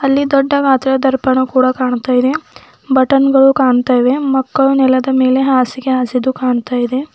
ಅಲ್ಲಿ ದೊಡ್ಡವಾದ ದರ್ಪಣ ಕೂಡ ಕಾಣ್ತಾ ಇದೆ ಬಟನ್ ಗಳು ಕಾಣ್ತಾ ಇವೆ ಮಕ್ಕಳು ನೆಲದ ಮೇಲೆ ಹಾಸಿಗೆ ಹಾಸಿದ್ದು ಕಾಣ್ತಾ ಇದೆ.